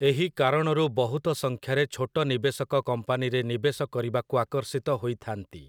ଏହି କାରଣରୁ ବହୁତ ସଂଖ୍ୟାରେ ଛୋଟ ନିବେଶକ କମ୍ପାନୀରେ ନିବେଶ କରିବାକୁ ଆକର୍ଷିତ ହୋଇଥାନ୍ତି ।